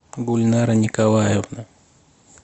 гульнара николаевна